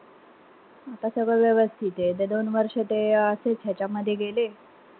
आता सगळं व्यवस्थिते. नाई त दोन वर्ष ते असेच ह्यांच्यामध्ये गेले.